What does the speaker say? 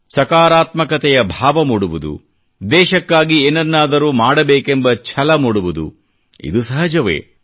ಸಕಾರಾತ್ಮಕತೆಯ ಭಾವ ಮೂಡವುದು ದೇಶಕ್ಕಾಗಿ ಏನನ್ನಾದರೂ ಮಾಡಬೇಕೆಂಬ ಛಲ ಮೂಡುವುದು ಇದು ಸಹಜವೇ